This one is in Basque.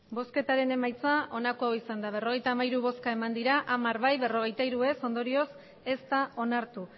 emandako botoak berrogeita hamairu bai hamar ez berrogeita hiru ondorioz ez da onartu